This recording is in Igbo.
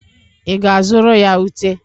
I ga-azụrụ ya Ute?